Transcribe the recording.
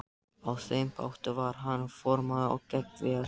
Á þeim báti var hann formaður og gekk vel.